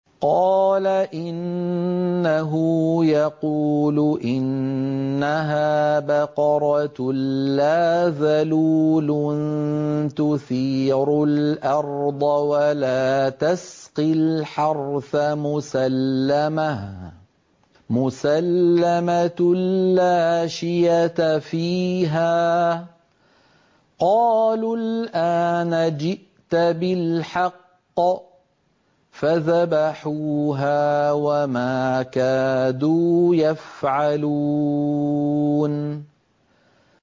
قَالَ إِنَّهُ يَقُولُ إِنَّهَا بَقَرَةٌ لَّا ذَلُولٌ تُثِيرُ الْأَرْضَ وَلَا تَسْقِي الْحَرْثَ مُسَلَّمَةٌ لَّا شِيَةَ فِيهَا ۚ قَالُوا الْآنَ جِئْتَ بِالْحَقِّ ۚ فَذَبَحُوهَا وَمَا كَادُوا يَفْعَلُونَ